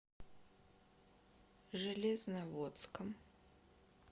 железноводском